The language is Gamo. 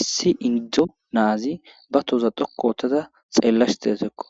Issi indo naazi be tooza dhoqqu oothada xeellashe de7awusko